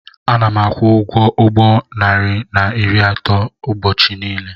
Ana m akwụ ụgwọ ụgbọ narị na iri atọ ụbọchị niile.